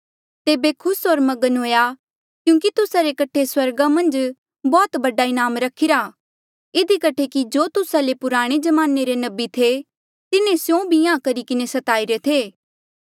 तेबे खुस होर मगन हुएया क्यूंकि तुस्सा रे कठे स्वर्गा मन्झ बौह्त बडा इनाम रखिरा इधी कठे कि जो तुस्सा ले पुराणे ज्माने रे नबी थे तिन्हें स्यों भी इंहां करी किन्हें स्ताईरे थे